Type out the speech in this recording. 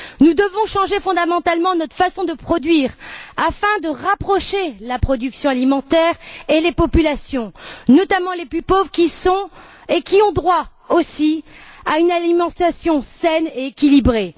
Nous devons changer fondamentalement notre façon de produire afin de rapprocher la production alimentaire et les populations notamment les plus pauvres qui ont aussi droit à une alimentation saine et équilibrée.